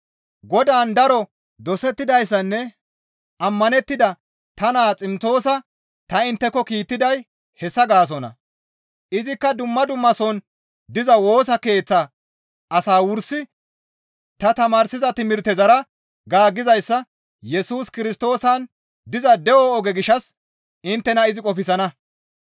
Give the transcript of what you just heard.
Godaan daro dosettidayssanne ammanettida ta naa Ximtoosa ta intteko kiittiday hessa gaasonna. Izikka dumma dummason diza Woosa Keeththa asaa wursi ta tamaarsida timirtezara gaaggizayssa Yesus Kirstoosan diza de7o oge gishshas inttena izi qofsana.